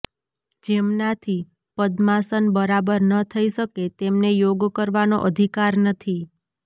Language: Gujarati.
જેમનાથી પદ્માસન બરાબર ન થઈ શકે તેમને યોગ કરવાનો અધિકાર નથી